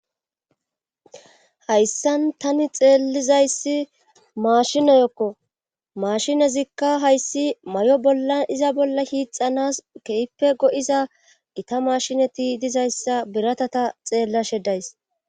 hayssan tani xeellizayssi maashinoyokko mashinezikka hayssi may7o bolla iza bolla hiixanas kehippe go7iza gita mashinati dizayssa biratata xeellashedays